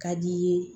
Ka d'i ye